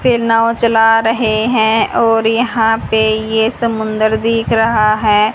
से नाव चला रहे हैं और यहां पे ये समुंदर दिख रहा है।